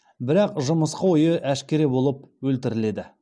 бірақ жымысқы ойы әшкере болып өлтіріледі